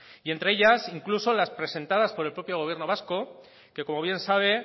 y entre ellas incluso las presentadas por el propio gobierno vasco que como bien sabe